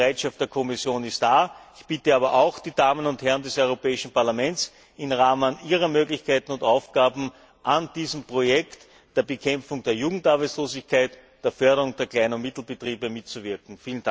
Die Bereitschaft der Kommission ist da. Ich bitte aber auch die Damen und Herren des Europäischen Parlaments, im Rahmen ihrer Möglichkeiten und Aufgaben an diesem Projekt der Bekämpfung der Jugendarbeitslosigkeit, der Förderung der Klein und Mittelbetriebe mitzuwirken.